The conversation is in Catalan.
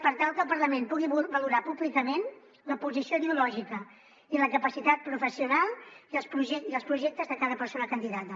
per tal que el parlament pugui valorar públicament la posició ideològica i la capacitat professional i els projectes de cada persona candidata